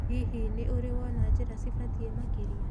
Hihi, nĩ ũrĩ wona njĩra cibatie makĩria?